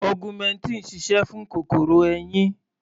Augmentin sise fún kòkòrò eyín.